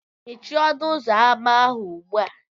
Mechie ọnụ ụzọ ámá ahụ ugbu a!